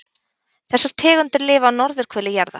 Þessar tegundir lifa á norðurhveli jarðar.